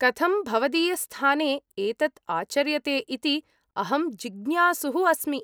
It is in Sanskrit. कथं भवदीयस्थाने एतत् आचर्यते इति अहं जिज्ञासुः अस्मि।